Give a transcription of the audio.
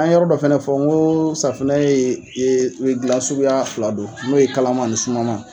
An ye yɔrɔ dɔ fɛnɛ fɔ n ko safunɛ ye gilan sukuya fila don. N'o ye kalaman ani sumaman.